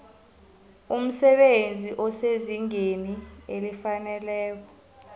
umsebenzi osezingeni elifaneleko